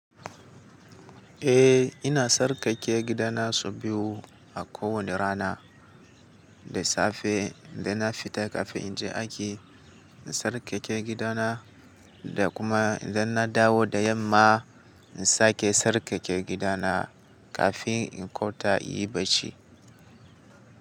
Eh ina sarƙaƙƙe gidana sau biyu a kowane rana. Da safe dan na fita kafin in je aiki, in sarƙaƙƙe gidana da kuma dan na dawo da yamma, in sake sarƙaƙƙe gidana kafin in kwata yi bacci.